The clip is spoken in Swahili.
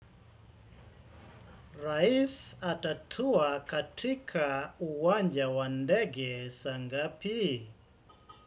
Rais atatua katika uwanja wandege saangapi?